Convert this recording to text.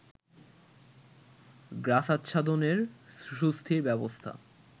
গ্রাসাচ্ছাদনের সুস্থির ব্যবস্থা